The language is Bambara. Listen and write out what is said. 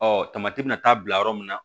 Ɔ tamati bɛna taa bila yɔrɔ min na